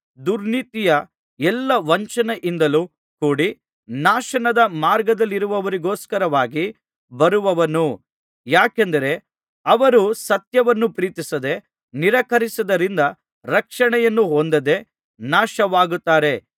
ದುರ್ನೀತಿಯ ಎಲ್ಲಾ ವಂಚನೆಯಿಂದಲೂ ಕೂಡಿ ನಾಶದ ಮಾರ್ಗದಲ್ಲಿರುವವರಿಗೋಸ್ಕರವಾಗಿ ಬರುವನು ಯಾಕೆಂದರೆ ಅವರು ಸತ್ಯವನ್ನು ಪ್ರೀತಿಸದೆ ನಿರಾಕರಿಸಿದ್ದರಿಂದ ರಕ್ಷಣೆಯನ್ನು ಹೊಂದದೆ ನಾಶವಾಗುತ್ತಾರೆ